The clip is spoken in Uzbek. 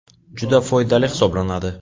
Juda foydali hisoblanadi.